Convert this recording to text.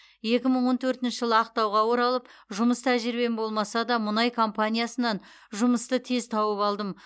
екі мың он төртінші жылы ақтауға оралып жұмыс тәжірибем болмаса да мұнай компаниясынан жұмысты тез тауып алдым